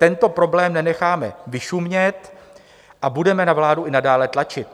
Tento problém nenecháme vyšumět a budeme na vládu i nadále tlačit.